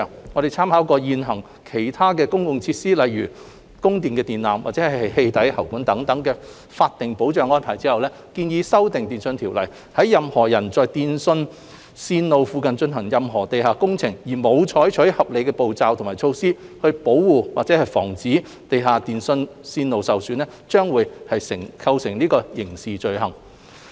我們參考現行對其他公共設施，例如供電電纜及氣體喉管等的法定保障安排後，建議修訂《電訊條例》，若任何人在電訊線路附近進行任何地下工程時，沒有採取合理步驟及措施保護或防止地下電訊線路受損，將會構成刑事罪行。